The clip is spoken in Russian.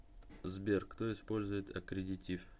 сбер кто использует аккредитив